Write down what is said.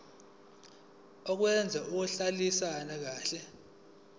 okwazi ukuhlalisana kahle